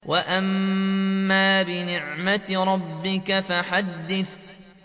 وَأَمَّا بِنِعْمَةِ رَبِّكَ فَحَدِّثْ